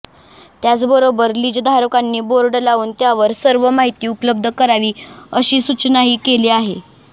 त्याचबरोबर लिजधारकांनी बोर्ड लावून त्यावर सर्व माहिती उपलब्ध करावी अशी सूचनाही केली आहे